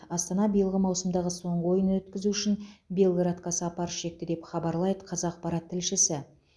астана биылғы маусымдағы соңғы ойынын өткізу үшін белградқа сапар шекті деп хабарлайды қазақпарат тілшісі